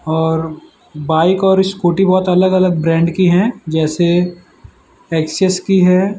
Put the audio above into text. और बाइक और स्कूटी बहोत अलग अलग ब्रांड की है जैसे एक्सेस की है।